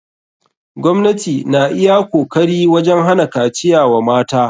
Gwamnati na iya kokari wajen hana kaciya wa mata.